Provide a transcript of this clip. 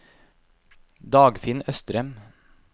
Dagfinn Østrem